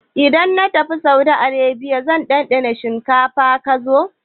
Idan na tafi Saudiyya zan ɗanɗana shinkafa-kaza.